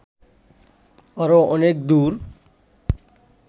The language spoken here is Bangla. আরো অনেক দূর